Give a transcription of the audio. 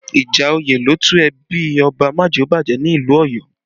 Ìjà òye ló tú ẹbí Ọba Majeobaje ni ìlú Ọ̀yọ́